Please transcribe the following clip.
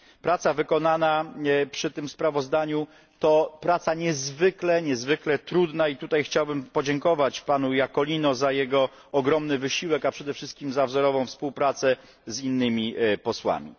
Praca wykonana przy tym sprawozdaniu to praca niezwykle trudna i tutaj chciałbym podziękować panu Iacolino za jego ogromny wysiłek, a przede wszystkim za wzorową współpracę z innymi posłami.